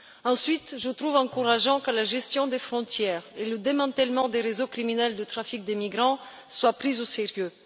Ensuite, je trouve encourageant que la gestion des frontières et le démantèlement des réseaux criminels de trafic des migrants soient pris au sérieux.